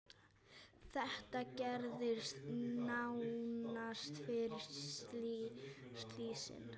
Þetta gerðist nánast fyrir slysni.